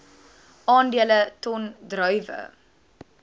aandele ton druiwe